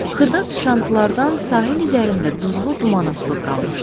Xırda sıçrantılardan sahil üzərində duzlu duman asılıb qalmışdı.